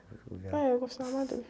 Ouvia..., eu gostava mais deles.